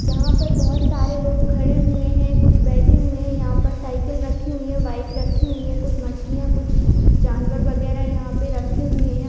यहां पर बोहोत सारे लोग खड़े हुए हैं। कुछ बैठे हुए हैं। यहाँ पर साइकिल रखी हुए है। बाइक रखी हुए है। कुछ मछलियां कुछ जानवर वगैरा यहां पे रखे हुए हैं।